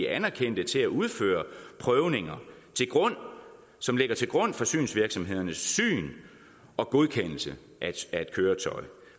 anerkendte til at udføre prøvninger som ligger til grund for synsvirksomhedernes syn og godkendelse af et køretøj